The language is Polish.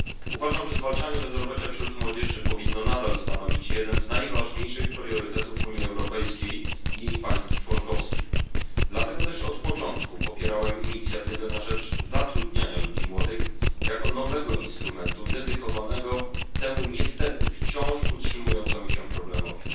Uważam, że zwalczanie bezrobocia wśród młodzieży powinno nadal stanowić jeden z najważniejszych priorytetów Unii Europejskiej i państw członkowskich, dlatego też od początku popierałem Inicjatywę na rzecz zatrudnienia ludzi młodych jako nowy instrument dedykowany temu niestety wciąż utrzymującemu się problemowi.